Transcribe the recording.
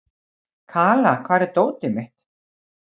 Kala, hvar er dótið mitt?